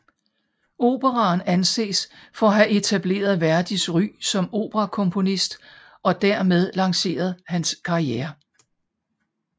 Operaen anses for at have etableret Verdis ry som operakomponist og dermed lanceret hans karriere